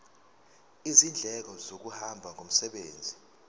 izindleko zokuhamba ngomsebenzi